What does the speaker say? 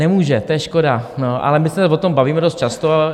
Nemůže, to je škoda, ano, ale my se o tom bavíme dost často.